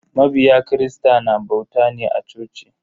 Mabiya kirista na bauta ne a coci.